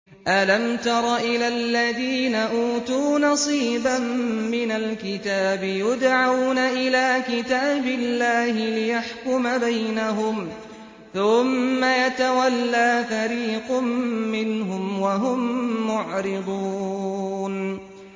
أَلَمْ تَرَ إِلَى الَّذِينَ أُوتُوا نَصِيبًا مِّنَ الْكِتَابِ يُدْعَوْنَ إِلَىٰ كِتَابِ اللَّهِ لِيَحْكُمَ بَيْنَهُمْ ثُمَّ يَتَوَلَّىٰ فَرِيقٌ مِّنْهُمْ وَهُم مُّعْرِضُونَ